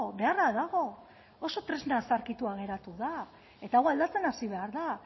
beharra dago oso tresna zaharkituta geratu da eta hau aldatzen hasi behar da